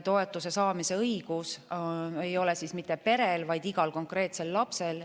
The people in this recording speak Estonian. Toetuse saamise õigus ei ole mitte perel, vaid igal konkreetsel lapsel.